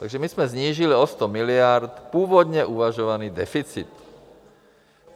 Takže my jsme snížili o sto miliard původně uvažovaný deficit.